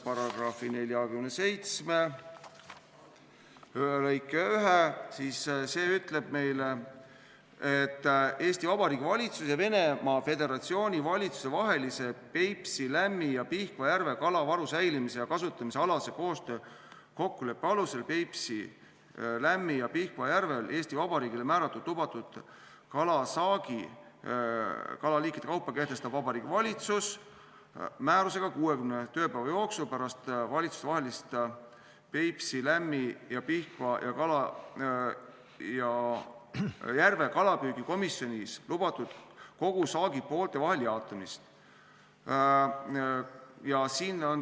" Paragrahvi 47 lõige 1 ütleb meile, et Eesti Vabariigi valitsuse ja Venemaa Föderatsiooni valitsuse vahelise Peipsi, Lämmi- ja Pihkva järve kalavaru säilimise ja kasutamise alase koostöö kokkuleppe alusel Peipsi, Lämmi- ja Pihkva järvel Eesti Vabariigile määratud lubatud aastasaagi kalaliikide kaupa kehtestab Vabariigi Valitsus määrusega 60 tööpäeva jooksul pärast valitsustevahelises Peipsi, Lämmi- ja Pihkva järve kalapüügi komisjonis lubatud kogusaagi poolte vahel jaotamist.